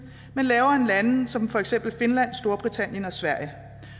men lavere end lande som for eksempel finland storbritannien og sverige